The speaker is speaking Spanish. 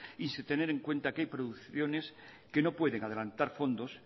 y sin tener en cuenta que hay producciones que no pueden adelantar fondos